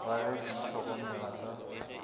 ra ge ke itlhokomela ka